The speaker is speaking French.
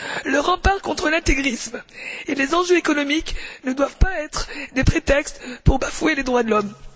Le rempart contre l'intégrisme et les enjeux économiques ne doivent pas être des prétextes pour bafouer les droits de l'homme.